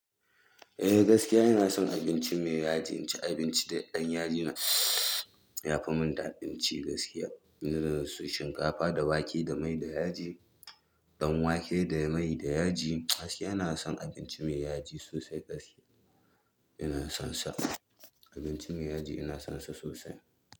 Eh gaskiya ina son abinci mai yaji, inci abinci da ɗan yaji na yafi mun daɗin ci gaskiya. Saboda su shinkafa da wake da mai da yaji, ɗan wake da mai da yaji gaskiya ina son abinci mai yaji sosai gaskiya ina son sa abinci mai yaji ina son sa sosai.